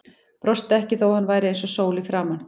Brosti ekki þó að hann væri eins og sól í framan.